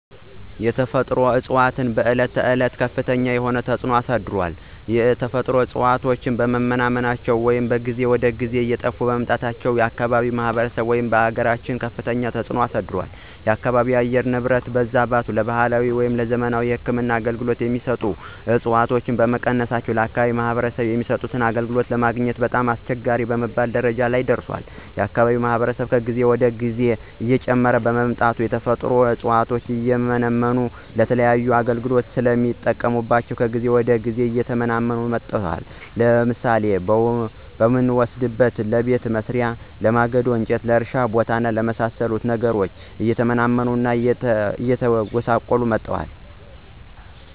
የተፈጥሮ እፅዋቶች በዕለት ተዕለት ከፍተኛ የሆነ ተፅዕኖ አሳድሯል። የተፈጥሮ እፅዋቶች በመመናመናቸው ወይም ከጊዜ ወደ ጊዜ እየጠፉ በመምጣታቸው ለአካባቢው ማህበረሰብ ወይም ለአገራችን ከፍተኛ ተፅዕኖ አሳድሯል። የአካባቢው የአየር ንብረት መዛባትን ለባህላዊ ወይም ለዘመናዊ የህክምና አገልገሎት የሚሰጡ ዕፅዋቶች በመቀነሳቸው ለአከባቢው ማህበረሰብ የሚሰጡት አገልግሎት ለማግኘት በጣም አስቸጋሪ በመባል ደረጃ ላይ ደርሷል። የአካባቢው ማህበረሰብ ከጊዜ ወደ ጊዜ እየጨመረ በመምጣቱ የተፈጥሮ ዕፅዋቶችን እየመነጠረ ለተለያዩ አገልግሎት ስለሚጠቀምባቸው ከጊዜ ወደ ጊዜ እየተመናመኑ መጥተዋል። ለምሳሌ ብንወስድ ለቤት መሥሪያ፣ ለማገዶ፣ ለእርሻ ቦታ እና ለመሣሰሉት ነገሮች እየመነጠሩ ይጠቀማሉ ማለት ነው።